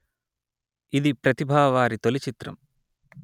ఇది ప్రతిభావారి తొలి చిత్రం